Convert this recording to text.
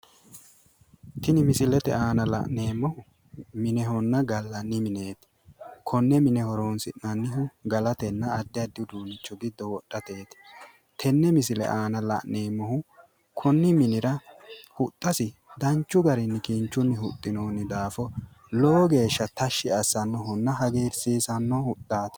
tini misilete aana la'neemmohu minehonna gallanni mineeti konne mine horonsi'nannihu galatenna addi addi uduunnicho giddo wodhateeti tenne misile aana la'neemmohu huxxasi danchu garinni kinchunni huxxinoonni daafo lowo geeshsha hagiirsiisannohunna tashshi assannohanni hagiirsiisanno huxxaati.